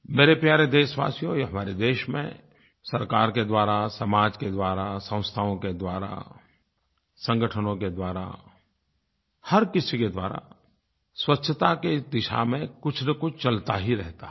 मेरे प्यारे देशवासियो ये हमारे देश में सरकार के द्वारा समाज के द्वारा संस्थाओं के द्वारा संगठनों के द्वारा हर किसी के द्वारा स्वच्छता की इस दिशा में कुछनकुछ चलता ही रहता है